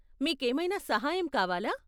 మీకేమైనా సహాయం కావాలా?